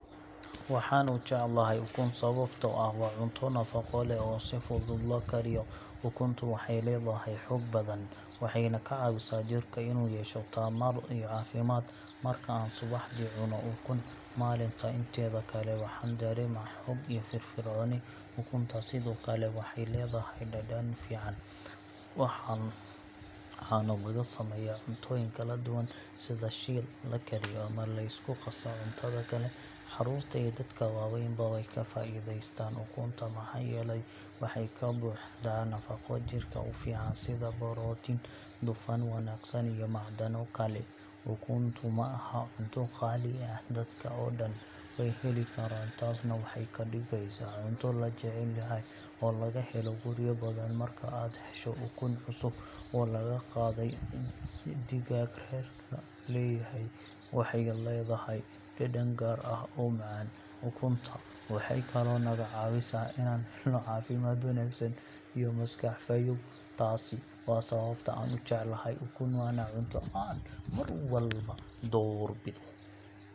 Waxaan u jeclahay ukun sababtoo ah waa cunto nafaqo leh oo si fudud loo kariyo. Ukuntu waxay leedahay xoog badan, waxayna ka caawisaa jirka inuu yeesho tamar iyo caafimaad. Marka aan subaxdii cunno ukun, maalinta inteeda kale waxaan dareemaa xoog iyo firfircooni. Ukunta sidoo kale waxay leedahay dhadhan fiican, waxaana laga sameeyaa cuntooyin kala duwan sida shiil, la kariyo, ama la isku qaso cuntada kale. Carruurta iyo dadka waaweynba way ka faa’iidaystaan ukunta maxaa yeelay waxay ka buuxdaa nafaqo jirka u fiican sida borotiin, dufan wanaagsan, iyo macdano kale. Ukuntu ma aha cunto qaali ah, dadka oo dhan way heli karaan, taasna waxay ka dhigaysaa cunto la jecel yahay oo laga helo guryo badan. Marka aad hesho ukun cusub oo laga qaaday digaag reerka leeyahay, waxay leedahay dhadhan gaar ah oo macaan. Ukunta waxay kaloo naga caawisaa inaan helno caafimaad wanaagsan iyo maskax fayoow. Taasi waa sababta aan u jeclahay ukun, waana cunto aan mar walba doorbido.